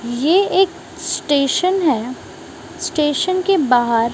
ये एक स्टेशन है स्टेशन के बाहर--